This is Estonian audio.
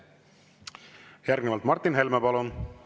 Järgnevalt Martin Helme, palun!